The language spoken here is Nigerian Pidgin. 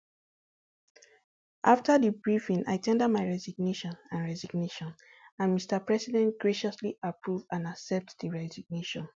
afta di briefing i ten der my resignation and resignation and mr president graciously approve and accept di resignation